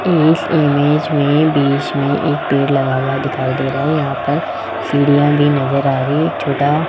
इस इमेज में बीच में एक पेड़ लगा हुआ दिखाई दे रहा है यहां पर सीढ़ियां भी नज़र आ रही है एक छोटा --